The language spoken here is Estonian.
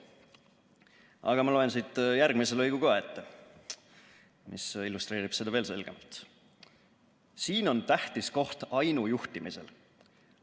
Aga ma loen siit ette ka järgmise lõigu, mis illustreerib seda veel selgemalt: "Siin on tähtis koht ainujuhtimisel.